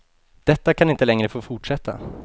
Detta kan inte längre få fortsätta.